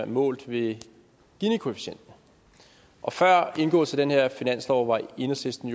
målt ved ginikoefficienten og før indgåelsen af den her finanslov var enhedslisten